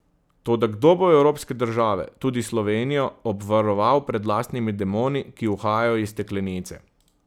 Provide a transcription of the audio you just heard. Toda kdo bo evropske države, tudi Slovenijo, obvaroval pred lastnimi demoni, ki uhajajo iz steklenice?